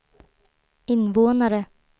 invånare